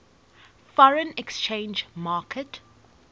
foreign exchange market